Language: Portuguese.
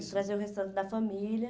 Trazer o restante da família.